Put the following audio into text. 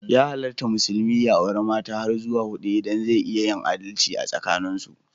Ya halatta musulmi ya auri mata har zuwa hudu idan zai iya yin adalci asakanin su.